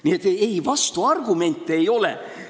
Nii et vastuargumente ei ole.